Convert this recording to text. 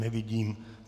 Nevidím.